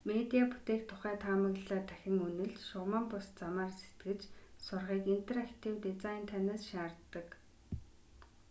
медиа бүтээх тухай таамаглалаа дахин үнэлж шугаман бус замаар сэтгэж сурахыг интерактив дизайн танаас шаарддаг